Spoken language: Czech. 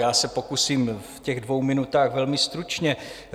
Já se pokusím v těch dvou minutách velmi stručně.